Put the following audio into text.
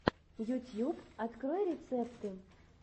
ютьюб открой рецепты